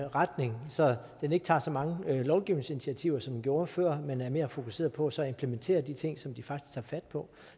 retning så den ikke tager så mange lovgivningsinitiativer som den gjorde før men er mere fokuseret på så at implementere de ting som de faktisk tager fat på